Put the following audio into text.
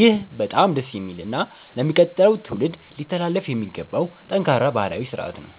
ይህ በጣም ደስ የሚልና ለሚቀጥለው ትውልድ ሊተላለፍ የሚገባው ጠንካራ ባህላዊ ሥርዓት ነው።